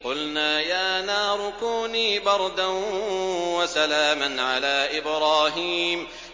قُلْنَا يَا نَارُ كُونِي بَرْدًا وَسَلَامًا عَلَىٰ إِبْرَاهِيمَ